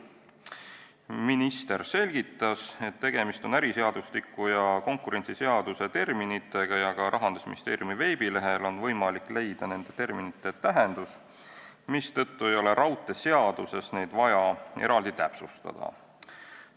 Minister selgitas, et tegemist on äriseadustiku ja konkurentsiseaduse terminitega ja ka Rahandusministeeriumi veebilehelt on võimalik leida nende terminite tähendust, mistõttu ei ole raudteeseaduses neid vaja eraldi täpsustada.